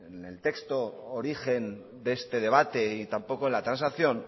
en el texto origen de este debate y tampoco en la transacción